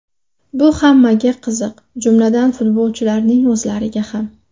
Bu hammaga qiziq, jumladan, futbolchilarning o‘zlariga ham.